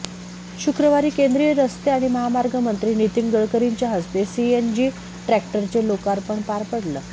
शुक्रवारी केंद्रीय रस्ते आणि महामार्ग मंत्री नितीन गडकरींच्या हस्ते सीएनजी ट्रॅक्टरचे लोकार्पण पार पडल